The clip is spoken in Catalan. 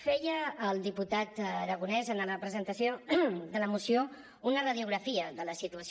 feia el diputat aragonés en la presentació de la moció una radiografia de la situació